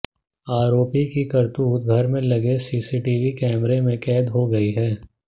आरोपी की करतूत घर में लगे सीसीटीवी कैमरे में कैद हो गई है